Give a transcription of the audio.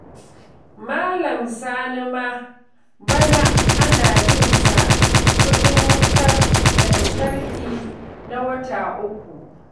Malam Sani ma bana ana bin sa kuɗin wutar lantarki na wata uku